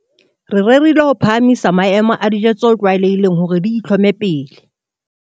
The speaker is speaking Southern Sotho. Re rerile ho phahamisa maemo a dijo tse tlwaelehileng hore di itlhome pele.